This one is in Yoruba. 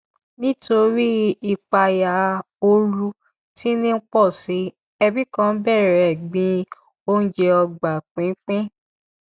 nítorí ìpayà ooru tí ń pọsi ẹbí kan bẹrẹ gbin oúnjẹ ọgbà pínpín